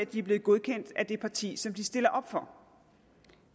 de er blevet godkendt af det parti som de stiller op for